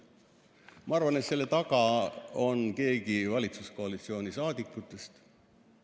Ma arvan, et selle taga on keegi valitsuskoalitsiooni saadikutest.